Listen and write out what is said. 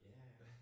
Ja ja